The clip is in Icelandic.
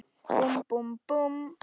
Búmm, búmm, búmm.